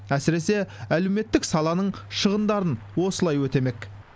әсіресе әлеуметтік саланың шығындарын осылай өтемек